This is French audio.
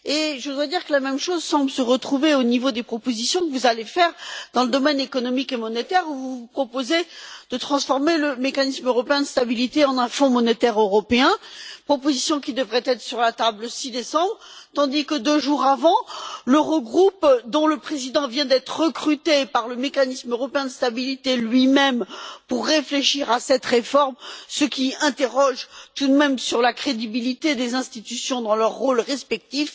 Je voudrais dire que la même chose semble se retrouver au niveau des propositions que vous allez faire dans le domaine économique et monétaire, où vous vous proposez de transformer le Mécanisme européen de stabilité en un Fonds monétaire européen proposition qui devrait être sur la table le 6 décembre tandis que le président de l'Eurogroupe vient d'être recruté par le Mécanisme européen de stabilité lui même pour réfléchir à cette réforme, ce qui pose tout de même question quant à la crédibilité des institutions dans leurs rôles respectifs.